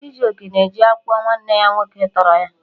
Chijoke na eji akwụkwọ nwanne ya nwoke tọrọ ya